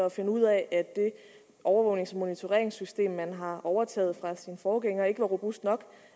at finde ud af at det overvågnings og monitoreringssystem man har overtaget fra sin forgænger ikke var robust nok og